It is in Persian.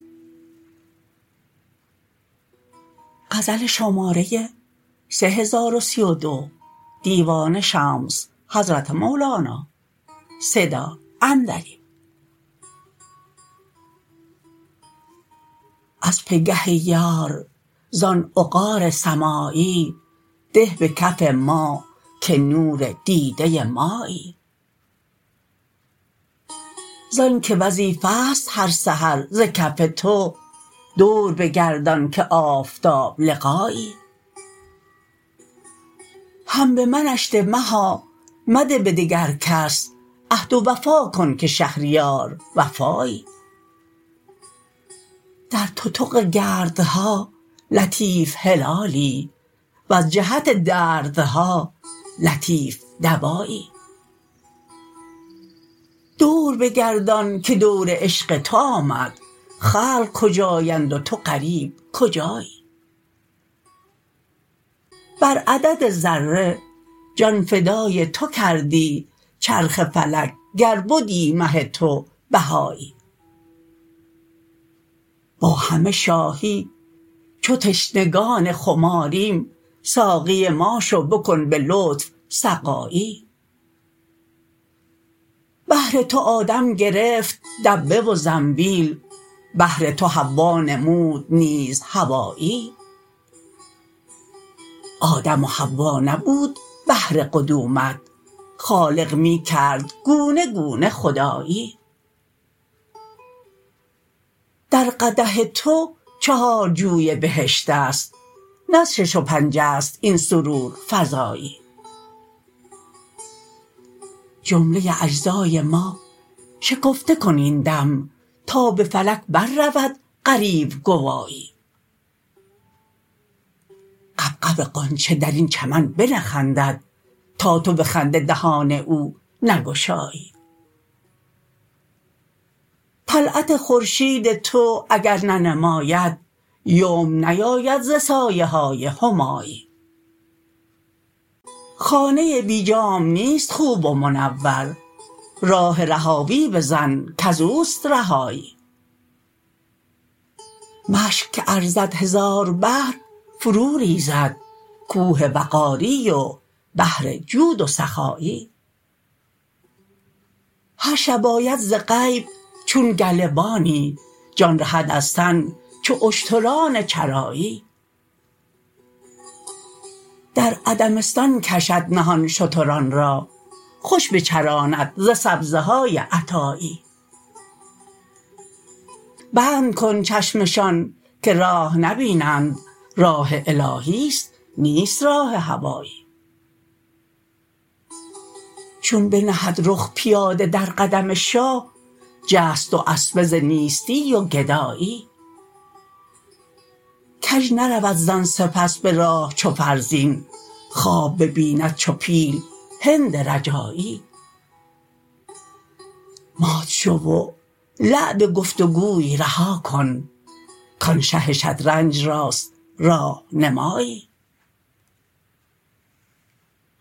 از پگه ای یار زان عقار سمایی ده به کف ما که نور دیده مایی زانک وظیفه ست هر سحر ز کف تو دور بگردان که آفتاب لقایی هم به منش ده مها مده به دگر کس عهد و وفا کن که شهریار وفایی در تتق گردها لطیف هلالی وز جهت دردها لطیف دوایی دور بگردان که دور عشق تو آمد خلق کجااند و تو غریب کجایی بر عدد ذره جان فدای تو کردی چرخ فلک گر بدی مه تو بهایی با همه شاهی چو تشنگان خماریم ساقی ما شو بکن به لطف سقایی بهر تو آدم گرفت دبه و زنبیل بهر تو حوا نمود نیز حوایی آدم و حوا نبود بهر قدومت خالق می کرد گونه گونه خدایی در قدح تو چهار جوی بهشتست نه از شش و پنجست این سرورفزایی جمله اجزای ما شکفته کن این دم تا به فلک بررود غریو گوایی غبغب غنچه در این چمن بنخندد تا تو به خنده دهان او نگشایی طلعت خورشید تو اگر ننماید یمن نیاید ز سایه های همایی خانه بی جام نیست خوب و منور راه رهاوی بزن کز اوست رهایی مشک که ارزد هزار بحر فروریز کوه وقاری و بحر جود و سخایی هر شب آید ز غیب چون گله بانی جان رهد از تن چو اشتران چرایی در عدمستان کشد نهان شتران را خوش بچراند ز سبزه های عطایی بند کند چشمشان که راه نبینند راه الهیست نیست راه هوایی چون بنهد رخ پیاده در قدم شاه جست دواسبه ز نیستی و گدایی کژ نرود زان سپس به راه چو فرزین خواب ببیند چو پیل هند رجایی مات شو و لعب گفت و گوی رها کن کان شه شطرنج راست راه نمایی